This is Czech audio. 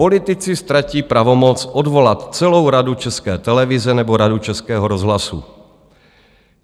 Politici ztratí pravomoc odvolat celou Radu České televize nebo Radu Českého rozhlasu.